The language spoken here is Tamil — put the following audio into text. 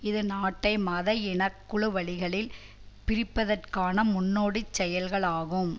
இது நாட்டை மத இனக்குழு வழிகளில் பிரிப்பதற்கான முன்னோடிச் செயல்களாகும்